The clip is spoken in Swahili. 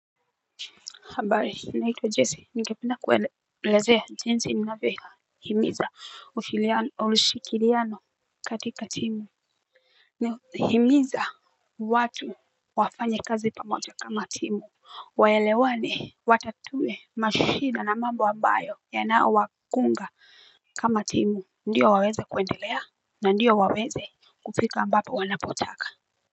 Habari, naitwa Jesse, ningependa kuwelezea jinsi ninavyo. Himiza urshikiriano katika timu. Nihimiza watu wafanya kazi pamoja kama timu. Waelewani watatue mashida na mambo ambayo yanao wa kunga. Kama timu ndio waweze kuendelea na ndio waweze kufika ambapo wanapotaka.